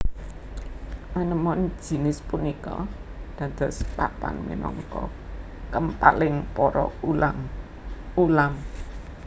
Anemon jinis punika dados papan minangka kempaling para ulam ulam